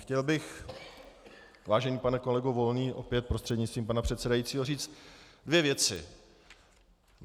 Chtěl bych, vážený pane kolego Volný, opět prostřednictvím pana předsedajícího, říci dvě věci.